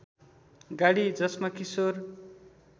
गाडी जसमा किशोर